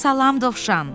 Salam Dovşan.